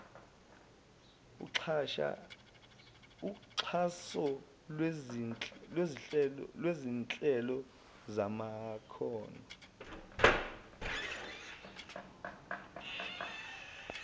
uxhaso lwezinhlelo zamakhono